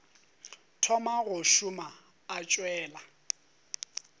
thoma go šoma o tšwela